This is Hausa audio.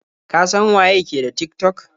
Ka san waye ke da Tik-tok?